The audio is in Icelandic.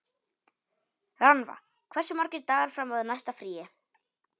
Rannva, hversu margir dagar fram að næsta fríi?